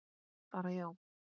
Bara já?